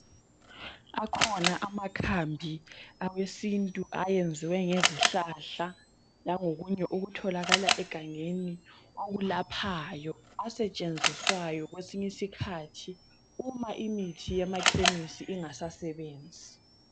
Akhona amakhambi awesintu ayenziwe ngezihlahla langokunye okutholakala egangeni okulaphayo asetshenziswa kwesinye isikhathi uma imithi yema khemisi ingasasebenzi